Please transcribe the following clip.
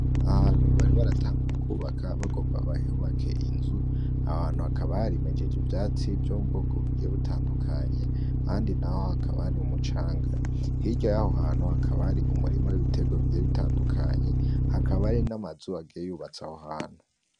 Ahantu bari b aratanguye kubaka bagomba bahehubake inzu ahantu hakabarimejeje ivyatsi vyo mu bwoko bigiye bitandukanye andi, naho hakabari umucanga hiryo yaho hantu hakabari umurima w'ibitebwa bigira bitandukanye hakabari n'amazubagiye yubatsa aho hantu.